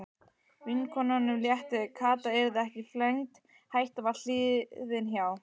Vinkonunum létti, Kata yrði ekki flengd, hættan var liðin hjá.